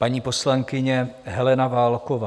Paní poslankyně Helena Válková.